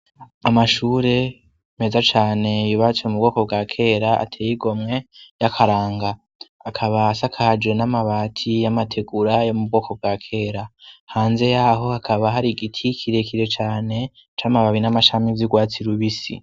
Amashure meza cyane yubatse mu bwoko bwa kera ateye igomwe y'akaranga akaba asakajo n'amabati y'amategura yo mu bwoko bwa kera, hanze yaho akaba hari giti kirekire cyane c'amababi n'amashami z'ugwatsi rubisi.